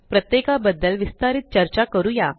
प्रत्येका बद्दल विस्तारीत चर्चा करूया